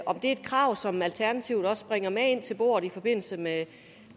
et krav som alternativet også bringer med ind til bordet i forbindelse med